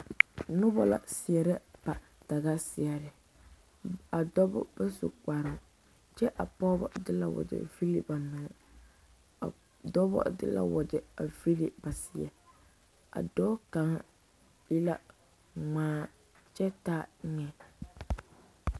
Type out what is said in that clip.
Noba la seɛrɛ a daga seɛre a dɔba ba su kparre kyɛ a pɔgeba de la wagyɛ vili ba menne a dɔba te la wagyɛ a vili ba seɛ a dɔɔ kaŋ e la ŋmaa a kyɛ taa eŋa